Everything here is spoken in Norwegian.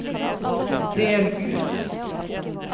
del ut